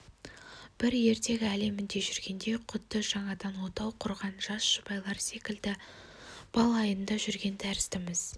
бір ертегі әлемінде жүргендей құдды жаңадан отау құрған жас жұбайлар секілді бал айында жүрген тәріздіміз